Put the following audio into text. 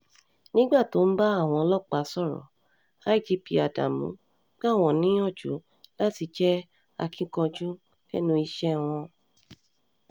nígbà tó ń bá àwọn ọlọ́pàá sọ̀rọ̀ igp ádámù gbà wọ́n níyànjú láti jẹ́ akínkanjú lẹ́nu iṣẹ́ wọn